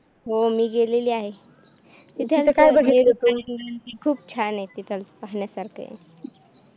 हो मी गेलेली आहे खूप छान आहे तिथं पाहण्यासारखं